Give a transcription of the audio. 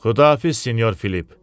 Xudahafiz Sinyor Filip.